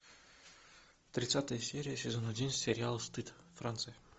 тридцатая серия сезон один сериал стыд франция